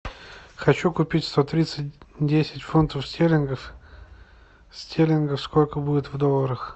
хочу купить сто тридцать десять фунтов стерлингов стерлингов сколько будет в долларах